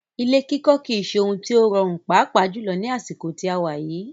Ilé kikọ́ kìí ṣe òhún tí o rọrùn pàápà jùlọ ní àsìkò tí a wà yìí.